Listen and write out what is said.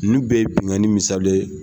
Ninnu bɛ ye bikani misaliya dɔ ye.